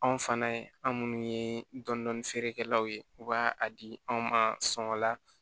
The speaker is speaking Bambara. Anw fana an minnu ye dɔndɔni feerekɛlaw ye u b'a a di anw ma sɔngɔla